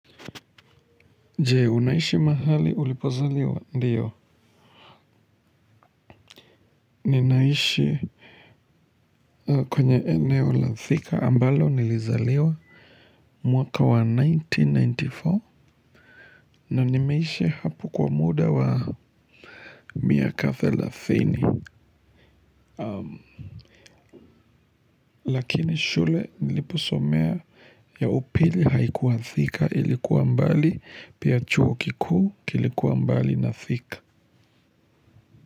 Je, unaishi mahali ulipozaliwa ndiyo. Ninaishi kwenye eneo la Thika ambalo nilizaliwa. Mwaka wa nineteen ninety four na nimeishi hapo kwa muda wa miaka thelathini. Lakini shule niliposomea ya upili haikuwa Thika ilikuwa mbali pia chuo kikuu kilikuwa mbali na Thika.